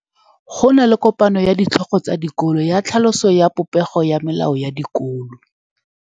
Go na le kopanô ya ditlhogo tsa dikolo ya tlhaloso ya popêgô ya melao ya dikolo.